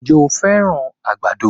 Ǹjẹ́ o fẹ́ràn àgbàdo?